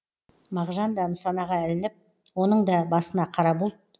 мағжан да нысанаға ілініп оның да басына қара бұлт